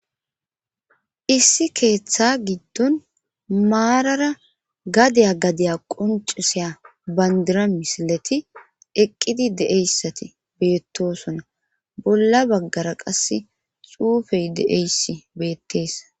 issi keeththa giddon maarara gadiya gadiya qoncisaya bandira misileti eqqidi de7eyssati beettosona bolla baggara qase xuufey de7eyssi beettees